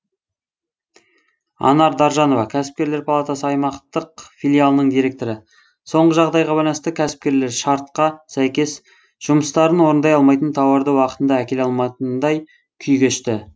анар даржанова кәсіпкерлер палатасы аймақтық филиалының директоры соңғы жағдайға байланысты кәсіпкерлер шартқа сәйкес жұмыстарын орындай алмайтын тауарды уақытында әкеле алмайтындай күй кешті